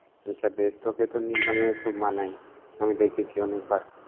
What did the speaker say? আচ্ছা বেশ, তোকে তো নীল রঙে কুব মানায়। আমি দেখেছি অনেকবার।